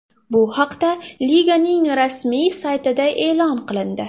Bu haqda liganing rasmiy saytida e’lon qilindi .